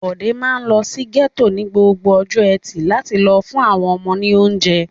Bọ̀dé máa ń lọ sí gẹ́tò ní gbogbo ọjọ́ ẹtì láti lọ fún àwọn ọmọ ní oúnjẹ.